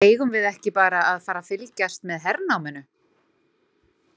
Eigum við ekki bara að fara að fylgjast með hernáminu?